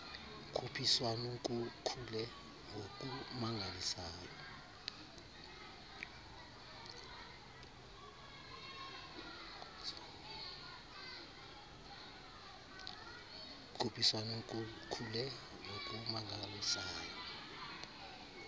khuphiswan kukhule ngokumangalisayo